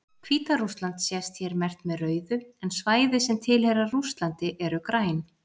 Hvíta-Rússland sést hér merkt með rauðu, en svæði sem tilheyra Rússlandi eru græn.